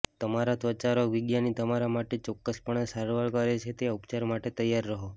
તમારા ત્વચારોગ વિજ્ઞાની તમારા માટે ચોક્કસપણે સારવાર કરે છે તે ઉપચાર માટે તૈયાર રહો